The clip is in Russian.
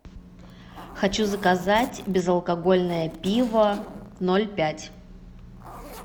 хочу заказать безалкогольное пиво ноль пять